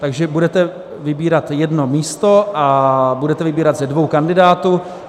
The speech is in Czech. Takže budete vybírat jedno místo a budete vybírat ze dvou kandidátů.